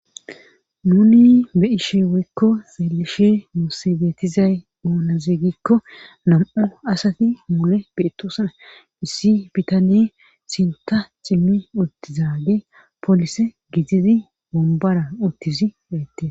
Nuni be ishe woykko xeelishe moosse beetizay oonazeegikko nam'u asati mule beettoosa issi bitane sinta cimmi uttizaage polise giitidi bombara uttizi heette